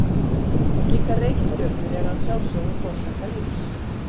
Slíkar reikistjörnur eru að sjálfsögðu forsenda lífs.